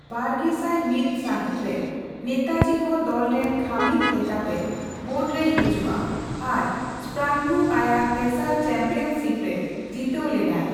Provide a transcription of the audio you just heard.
ᱵᱟᱨᱜᱮᱥᱟᱭ ᱢᱤᱛ ᱥᱟᱹᱦᱤᱛ ᱨᱮ, ᱱᱮᱛᱟᱡᱤ ᱦᱚᱸ ᱫᱚᱞ ᱨᱮᱱ ᱠᱷᱟᱹᱢᱤᱫ ᱞᱮᱠᱟᱛᱮ ᱵᱳᱨᱰ ᱨᱮᱭ ᱦᱤᱡᱩᱜᱼᱟ ᱟᱨ ᱥᱯᱨᱟᱝᱜᱩ ᱟᱭᱟᱜ ᱛᱮᱥᱟᱨ ᱪᱟᱢᱯᱤᱭᱟᱱ ᱥᱤᱯᱨᱮ ᱡᱤᱛᱟᱹᱣ ᱞᱮᱱᱟᱭ ᱾